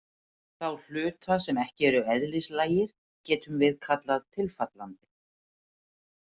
Þá hluta sem ekki eru eðlislægir getum við kallað tilfallandi.